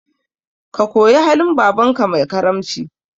Ka koyi halin babanka mai karamci